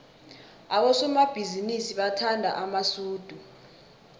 abosomabhizinisi bathanda amasudu